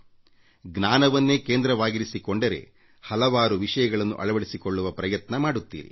ಆದರೆ ನೀವು ಜ್ಞಾನವನ್ನೇ ಕೇಂದ್ರವಾಗಿರಿಸಿಕೊಂಡರೆ ಹಲವಾರು ವಿಷಯಗಳನ್ನು ಅರಿತುಕೊಳ್ಳುವ ಪ್ರಯತ್ನ ಮಾಡುತ್ತೀರಿ